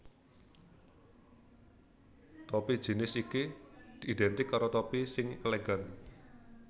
Topi jInis iki idèntik karo topi sing elegan